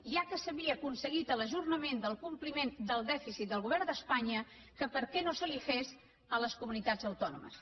ja que s’havia aconseguit l’ajornament del compliment del dèficit del govern d’espanya que per què no se li feia a les comunitats autònomes